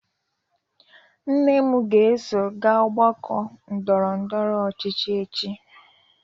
Nne m ga-eso gaa ọgbakọ ndọrọ ndọrọ ọchịchị echi.